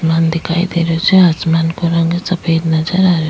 आसमान दिखाई दे रहियो छे आसमान को रंग सफ़ेद नजर आ रहियो --